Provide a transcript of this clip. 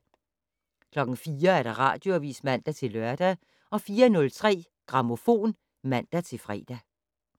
04:00: Radioavis (man-lør) 04:03: Grammofon (man-fre)